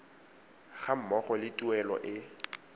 ga mmogo le tuelo e